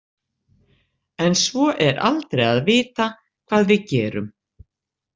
En svo er aldrei að vita hvað við gerum.